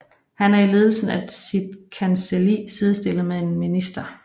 Han er i ledelsen af sit kancelli sidestillet med en minister